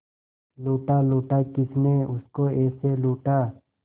लूटा लूटा किसने उसको ऐसे लूटा